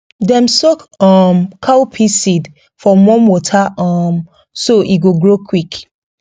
dem soak um cowpea seed for warm water um so e go grow quick